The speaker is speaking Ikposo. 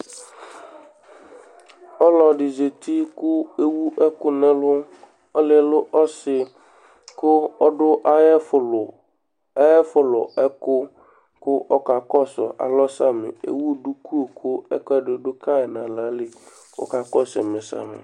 Ɔlɔɖi zɛti kʋ ewu ɛku ŋu ɛlu Ɔliɛ lɛ ɔsi kʋ aɖu ayʋ ɛfu lu Ayʋɛfu lu ɛku kʋ ɔka kɔsu alɔ samì Ɛwu ɖʋku kʋ ɛkʋɛɖi ɖu kayi ŋu aɣla kʋ ɔka kɔsu ɛmɛ samì